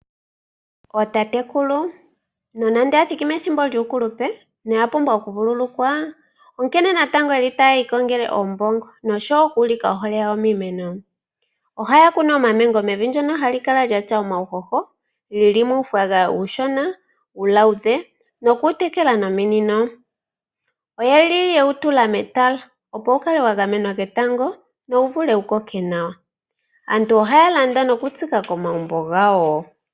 Ootatekulu no nande oya thiki methimbo lyuukulupe noya pumbwa okuvululukwa, onkene natango ye li ta ya iikongele oombongo, nosho wo oku ulika ohole yawo miimeno. Oha ya kunu omamengo mevi ndyoka hali kala lyatya omawushosho . Geli muufagafaga uushona, uuluudhe noku wu tekela nominino. Oye li ye wutula metala opo wugamenwa ketango wo wuvule wu koke nawa. Aantu oha ya landa nokutsika komagumbo gawo.